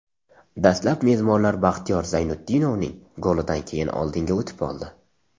Dastlab mezbonlar Baxtiyor Zaynutdinovning golidan keyin oldinga o‘tib oldi.